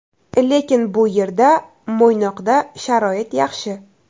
Lekin bu yerda (Mo‘ynoqda) sharoit yaxshi.